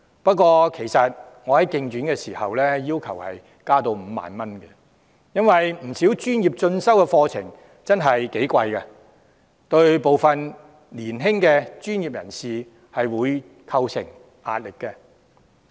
不過，我在競選時要求將資助上限增至5萬元，因為不少專業進修課程的學費真的很高昂，對於部分年輕的專業人士構成壓力。